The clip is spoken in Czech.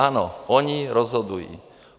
Ano, oni rozhodují.